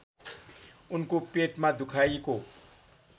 उनको पेटमा दुखाइको